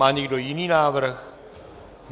Má někdo jiný návrh?